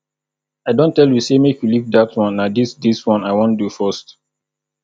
i don tell you say make you leave dat one na dis dis one i wan do first